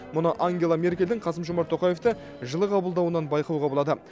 мұны ангела меркельдің қасым жомарт тоқаевты жылы қабылдауынан байқауға болады